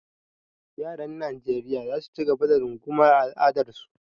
Yaran Najeriya za su ci gaba da rungumar al’adunsu.